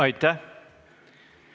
Aitäh!